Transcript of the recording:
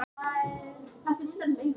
Börn sem fædd eru á